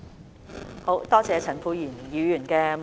多謝陳沛然議員的補充質詢。